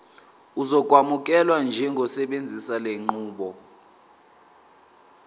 uzokwamukelwa njengosebenzisa lenqubo